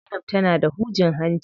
Zainab tana da hujin hanci.